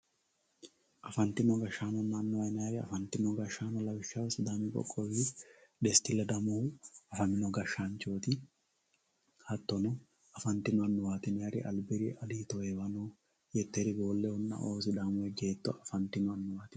afantino gashshaanonna annuwa yinanniri afantino gashshaano yaa lawishshaho sidaami qoqqowi desti ledamohu afamino gashshaanchooti hattono afantino annuwaati yinayiiri albiri aliito heewanohu yetteri boollehunna"oo sidaamu ejjeetto afantino annuwaati.